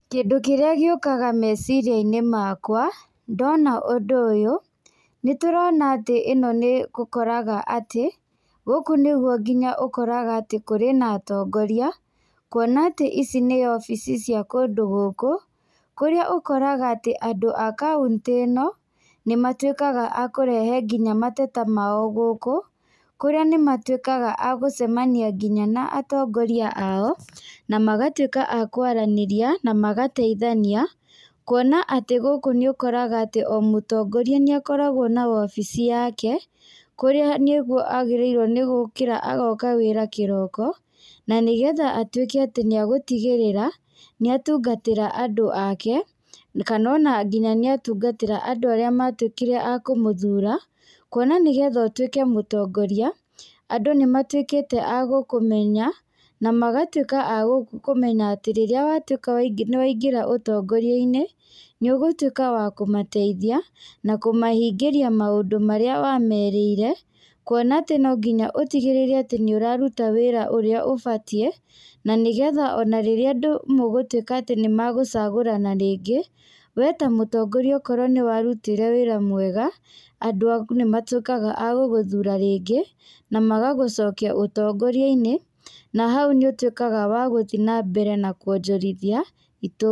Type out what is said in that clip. Kĩndũ kĩrĩa gĩũkaga meciria-inĩ makwa ndona ũndũ ũyũ, nĩ tũrona atĩ ĩno nĩ ũkoraga atĩ, gũkũ nĩguo nginya ũkoraga atĩ kũrĩ na atongoria. Kuona atĩ ici nĩ obici cia kũndũ gũkũ, kũrĩa ũkoraga atĩ andũ a kauntĩ ĩno nĩ matuĩkaga a kũrehe nginya mateta mao gũkũ. Kũrĩa nĩ matuĩkaga a gũcemania nginya na atongoria ao, na magatuĩka a kwaranĩria, na magateithania. Kuona atĩ gũkũ nĩ ũkoraga atĩ o mũtongoria nĩ akoragwo na wobici yake, kũrĩa nĩguo agĩrĩirwo nĩ gũkĩra agoka wĩra kĩroko, na nĩgetha atuĩke atĩ nĩ agũtigĩrĩra nĩ atungatĩra andũ ake. Kana ona nginya nĩ atungatĩra andũ arĩa matuĩkire a kũmũthura. Kuona nĩgetha ũtuĩke mũtongoria, andũ nĩ matuĩkĩte a gũkũmenya, na magatuĩka a kũmenya atĩ rĩrĩa watuĩka nĩwaingĩra ũtongoria-inĩ nĩ ũgũtuĩka wa kũmateithia, na kũmahingĩria maũndũ marĩa wamerĩire. Kuona atĩ nonginya ũtigĩrĩre atĩ nĩ ũraruta wĩra ũrĩa ũbatiĩ, na nĩgetha ona rĩrĩa andũ mũgũtuĩka atĩ nĩmagũcagũrana rĩngĩ, we ta mũtongoria okorwo nĩwarutire wĩra mwega, andũ aku nĩ matuĩkaga a gũgũthura rĩngĩ, na magagũcokia ũtongoria-inĩ. Na hau nĩ ũtuĩkaga wa gũthiĩ na mbere na kuonjorithia itũũra.